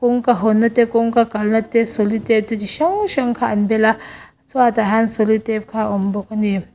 kawngka hawn na kawngka kalh na te solitape te chi hrang hrang kha an bel a chhuat ah hian solitape kha a awm bawk ani.